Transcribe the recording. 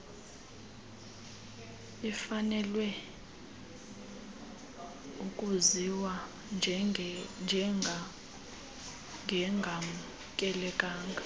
ifanelwe ukwaziwa njengengamkelekanga